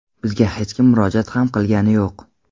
Bizga hech kim murojaat ham qilgani yo‘q.